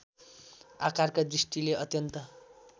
आकारका दृष्टिले अत्यन्त